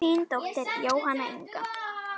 Þín dóttir Jóhanna Inga.